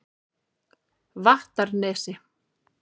Vattarnesi